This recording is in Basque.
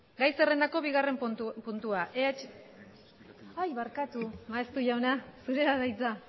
gai zerrendako bigarren puntua barkatu maeztu jauna zurea da hitza